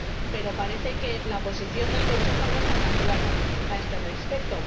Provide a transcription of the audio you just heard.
pero parece que la posición del Consejo no está tan clara a este respecto